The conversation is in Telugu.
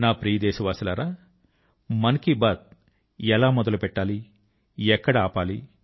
నా ప్రియ దేశవాసులారా మన్ కీ బాత్ ఎలా మొదలు పెట్టాలి ఎక్కడ ఆపాలి